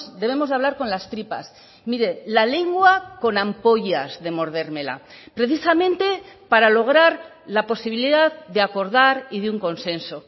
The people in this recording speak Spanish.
debemos de hablar con las tripas mire la lengua con ampollas de mordérmela precisamente para lograr la posibilidad de acordar y de un consenso